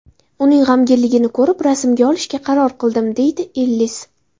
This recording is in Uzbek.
Uning g‘amginligini ko‘rib, rasmga olishga qaror qildim”, deydi Ellis.